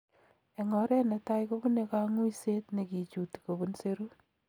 Eng oret netai kobune kang�uiset nekichuti kobun serut